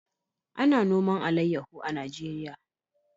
A na noman alayaho a Najeriya